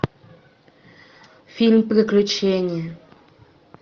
фильм приключения